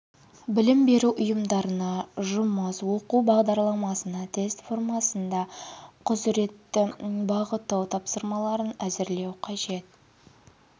білім беру ұйымдарына жұмыс оқу бағдарламасына тест формасында құзыретті бағыттау тапсырмаларын әзірлеу қажет